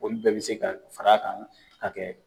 Olu bɛɛ bɛ se ka far'a kan ka kɛ